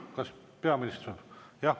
Kas peaminister?